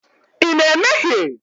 Ị na-emehie?